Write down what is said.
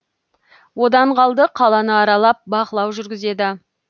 одан қалды қаланы аралап бақылау жүргізеді